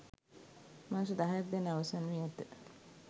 මාස දහයක් දැන් අවසන් වී ඇත.